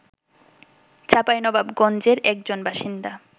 চাঁপাইনবাবগঞ্জের একজন বাসিন্দা